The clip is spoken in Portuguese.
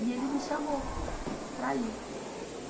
E ele me chamou para ir.